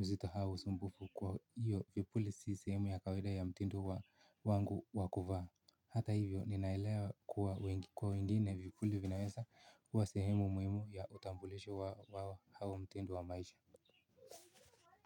uzito au usumbufu kwa hiyo vipuli si sehemu ya kawaida ya mtindo wangu wa kuvaa. Hata hivyo ninaelewa kuwa kwa wengine vipuli vinawezakuwa sehemu muhimu ya utambulisho wao au mtindo wa maisha.